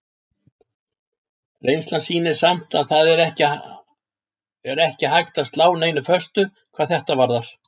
Reynslan sýnir samt að það er ekki hægt að slá neinu föstu hvað þetta varðar.